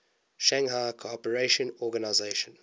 shanghai cooperation organization